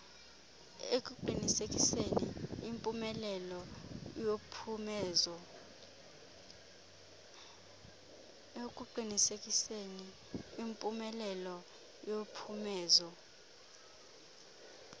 ekuqinisekiseni impumelelo yophumezo